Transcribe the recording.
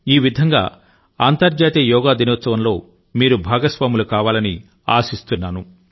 ఈ విధంగా అంతర్జాతీయ యోగా దినోత్సవంలో మీరు భాగస్వాములు కావాలని ఆశిస్తున్నాను